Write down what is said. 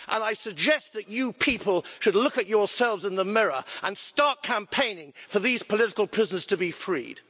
I suggest that you people should look at yourselves in the mirror and start campaigning for these political prisoners to be freed.